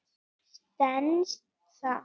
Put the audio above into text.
Stenst það?